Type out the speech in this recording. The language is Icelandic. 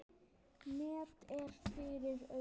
Net er fyrir augum.